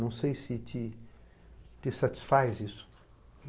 Não sei se te satisfaz isso.